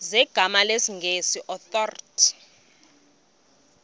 zegama lesngesn authorit